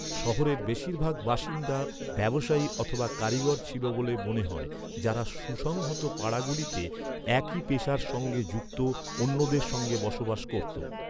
শহরের বেশিরভাগ বাসিন্দা ব্যবসায়ী অথবা কারিগর ছিল বলে মনে হয়, যারা সুসংহত পাড়াগুলিতে একই পেশার সঙ্গে যুক্ত অন্যদের সঙ্গে বসবাস করতো।